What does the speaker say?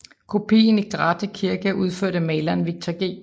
Kopien i Grathe Kirke er udført af maleren Victor G